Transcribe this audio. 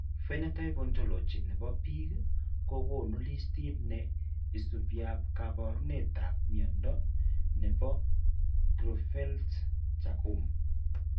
Phenotype Ontology ne po biik ko konu listiit ne isubiap kaabarunetap mnyando ne po Creutzfeldt Jakob.